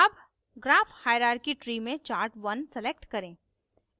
अब graph hierarchy tree में chart1 1 select करें